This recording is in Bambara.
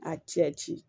A cɛ ci